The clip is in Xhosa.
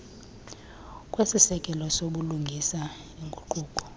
kwesiseko sobulungisa iinguquko